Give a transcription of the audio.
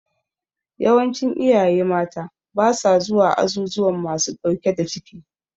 Yawancin iyaye mata ba sa zuwa azuzuwan masu ɗauke da ciki.